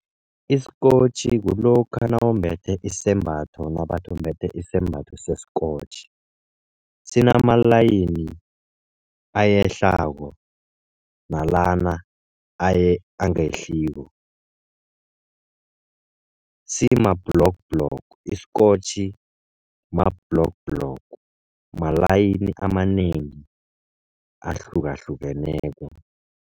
Isikotjhi kulokha nawumbethe isembatho nabathi umbethe isembatho se-scotch. Sinamalayini ayehlako nalana angehliko. Sima-block block, isikotjhi ma-block block. Malayini amanengi ahlukahlukeneko.